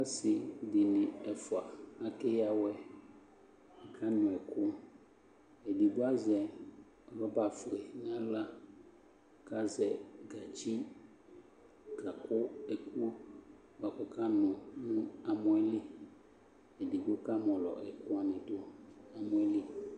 Ɔsɩ dɩnɩ ɛfʋa akeyǝ awɛ Akanʋ ɛkʋ Edigbo azɛ rɔbafue nʋ aɣla kʋ azɛ gatsi kakʋ ɛkʋ bʋa kʋ ɔkanʋ nʋ amɔ yɛ li Edigbo kamɔlɔ ɛkʋ wanɩ dʋ nʋ amɔ yɛ li